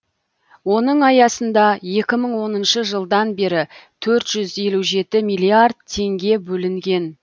оның аясында екі мың оныншы жылдан бері төрт жүз елу жеті миллиард теңге бөлінген